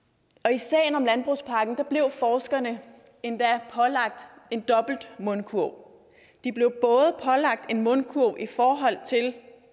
i sagen om landbrugspakken blev forskerne endda pålagt en dobbelt mundkurv de blev både pålagt en mundkurv i forhold til